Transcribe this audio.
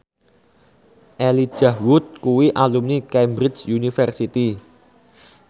Elijah Wood kuwi alumni Cambridge University